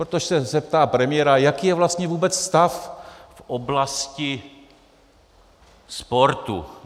Protože se zeptá premiéra: Jaký je vlastně vůbec stav v oblasti sportu?